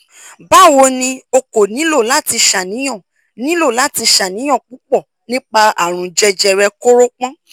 bawo ni o ko nilo lati ṣàníyàn nilo lati ṣàníyàn pupọ nipa àrùn jẹjẹrẹ koropon